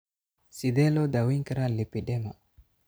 Sidee loo daweyn karaa lipedema?